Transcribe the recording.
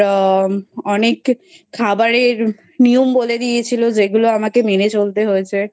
অনেক খাবারের নিয়ম বলে দিয়েছিল যেগুলো আমাকে মেনে চলতে হয়েছে।